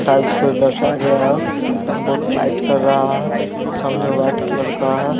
Tiles को दर्शाया गया है ये बोहोत लाइट कर रहा है। सामने वाइट कलर का है।